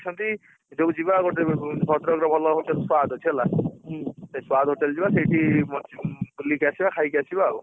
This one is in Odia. ଅଛନ୍ତି ସବୁ ଯିବା ଭଦ୍ରକରେ ଭଲହବ squared ଅଛି ହେଲା ସେଇ squared hotel ଯିବା ସେଇଠି ମରଚିପୁର ବୁଲିକି ଆସିବା ଖାଇକି ଆସିବା ଆଉ,